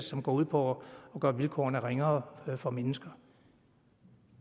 som går ud på at gøre vilkårene ringere for mennesker